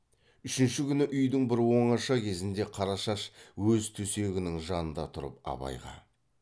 үшінші күні үйдің бір оңаша кезінде қарашаш өз төсегінің жанында тұрып абайға